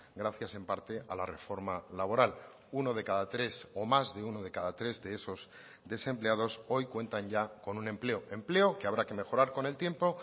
gracias en parte a la reforma laboral uno de cada tres o más de uno de cada tres de esos desempleados hoy cuentan ya con un empleo empleo que habrá que mejorar con el tiempo